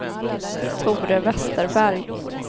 Tore Vesterberg